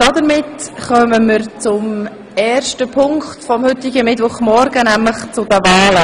Damit kommen wir zum ersten Punkt des heutigen Vormittags: Zu den Wahlen.